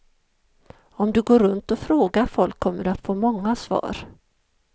Om du går runt och frågar folk kommer du att få många svar.